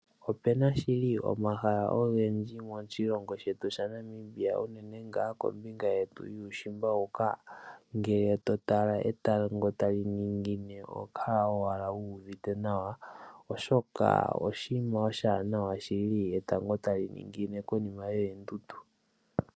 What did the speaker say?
Opena shili omahala ogendji moshilongo shetu shaNamibia uunene ngaa kombinga yetu yuushimba huka ngele totala etango tali ningine oho kala owala wuuvite nawa oshoka oshinima oshiwanawa shili etango tali ningine konima yoondundu.